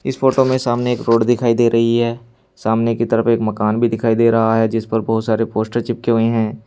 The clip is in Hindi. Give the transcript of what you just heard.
इस फोटो में सामने एक रोड दिखाई दे रही है सामने की तरफ एक मकान भी दिखाई दे रहा है जिस पर बहोत सारे पोस्टर चिपके हुए हैं।